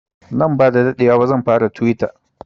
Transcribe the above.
Nan ba sa daɗewa ba zan fara tuwita